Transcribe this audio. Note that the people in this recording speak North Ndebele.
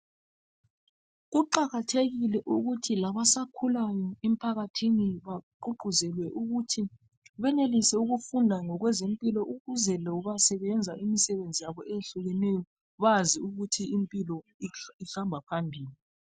Kuqakathekile ukuthi labasakhulayo emphakathini baququzele ukuthi benelise ukufunda ngokwezempilo ukuze loba sebenza imisebenzi yabo ehlukeneyo bazi ukuthi impilo ihamba phambili.